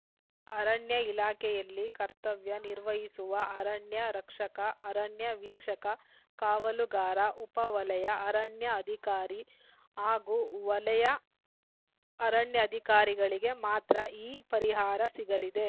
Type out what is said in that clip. ಅರಣ್ಯ ಇಲಾಖೆಯಲ್ಲಿ ಕರ್ತವ್ಯನಿರ್ವಹಿಸುವ ಅರಣ್ಯ ರಕ್ಷಕ ಅರಣ್ಯ ವೀಕ್ಷಕ ಕಾವಲುಗಾರ ಉಪ ವಲಯ ಅರಣ್ಯ ಅಧಿಕಾರಿ ಹಾಗೂ ವಲಯ ಅರಣ್ಯಾಧಿಕಾರಿಗಳಿಗೆ ಮಾತ್ರ ಈ ಪರಿಹಾರ ಸಿಗಲಿದೆ